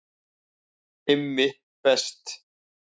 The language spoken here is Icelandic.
IMMI BEST